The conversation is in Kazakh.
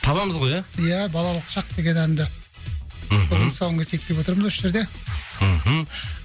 табамыз ғой иә иә балалық шақ деген әнді мхм бүгін тұсауын кесейік деп отырмыз осы жерде мхм